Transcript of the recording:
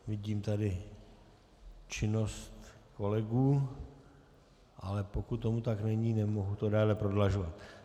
Vidím tady činnost kolegů, ale pokud tomu tak není, nemohu to déle prodlužovat.